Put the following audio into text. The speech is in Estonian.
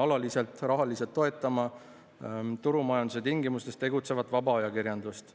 alaliselt rahaliselt toetama turumajanduse tingimustes tegutsevat vaba ajakirjandust.